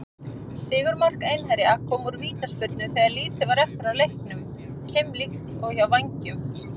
Sigurmark Einherja kom úr vítaspyrnu þegar lítið var eftir af leiknum, keimlíkt og hjá Vængjum.